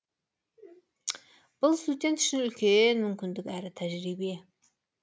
бұл студент үшін үлкен мүмкіндік әрі тәжірибе